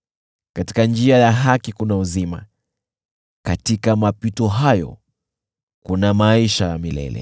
Katika njia ya haki kuna uzima; katika mapito hayo kuna maisha ya milele.